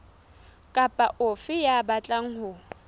kapa ofe ya batlang ho